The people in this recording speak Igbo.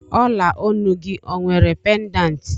Ola Onu gị ọ nwere pedanti